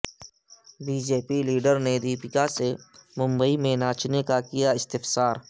B J پی leader نے دپیکا سے ممبئی میں ناچنے کا کیااستفسار